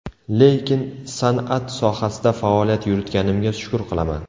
Lekin san’at sohasida faoliyat yuritganimga shukur qilaman.